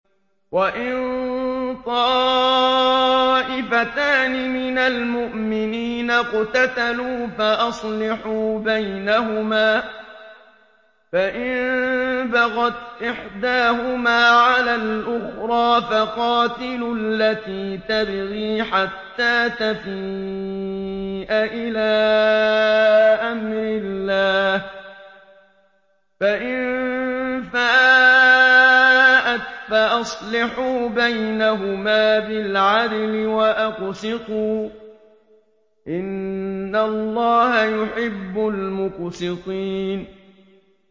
وَإِن طَائِفَتَانِ مِنَ الْمُؤْمِنِينَ اقْتَتَلُوا فَأَصْلِحُوا بَيْنَهُمَا ۖ فَإِن بَغَتْ إِحْدَاهُمَا عَلَى الْأُخْرَىٰ فَقَاتِلُوا الَّتِي تَبْغِي حَتَّىٰ تَفِيءَ إِلَىٰ أَمْرِ اللَّهِ ۚ فَإِن فَاءَتْ فَأَصْلِحُوا بَيْنَهُمَا بِالْعَدْلِ وَأَقْسِطُوا ۖ إِنَّ اللَّهَ يُحِبُّ الْمُقْسِطِينَ